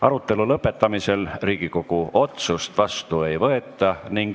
Arutelu lõpetamisel Riigikogu otsust vastu ei võeta.